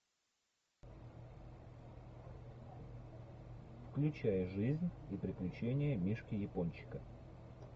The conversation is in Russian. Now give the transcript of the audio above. включай жизнь и приключения мишки япончика